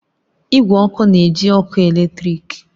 Igwe ọkụ na-eji ọkụ eletrik